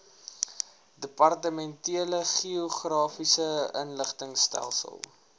departementele geografiese inligtingstelsel